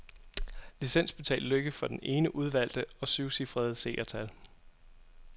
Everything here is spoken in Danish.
Licensbetalt lykke for den ene udvalgte og syvcifrede seertal.